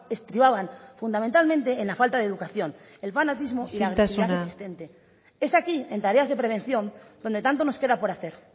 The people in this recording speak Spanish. estribaban fundamentalmente en la falta de educación el fanatismo isiltasuna es aquí en tareas de prevención donde tanto nos queda por hacer